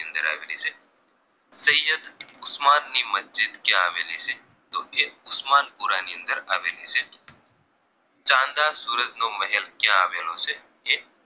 ઉસ્માનની મસ્જિદ ક્યાં આવેલી છે તો કે ઉસ્માનપુરાની અંદર આવેલી છે ચન્દા સૂરજનો મહેલ ક્યાં આવેલો છે કે